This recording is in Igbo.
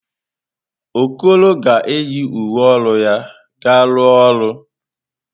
Okoro ga-eyi uwe ọrụ ya ga-arụ ọrụ.